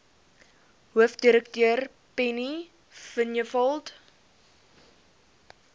hoofdirekteur penny vinjevold